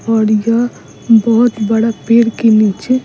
और यह बहुत बड़ा पेड़ के नीचे --